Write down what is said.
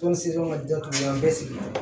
Tɔn sen ka jatigila an bɛ sigi